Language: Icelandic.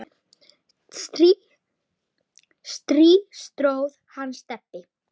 strý tróð hann Stebbi